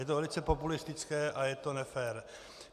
Je to velice populistické a je to nefér.